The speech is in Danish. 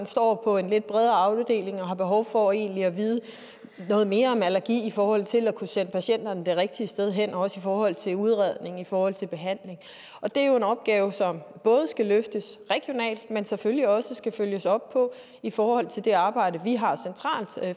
står på en lidt bredere afdeling og har behov for egentlig at vide noget mere om allergi i forhold til at kunne sende patienterne det rigtige sted hen også i forhold til udredning og i forhold til behandling og det er jo en opgave som både skal løftes regionalt men selvfølgelig også skal følges op på i forhold til det arbejde vi har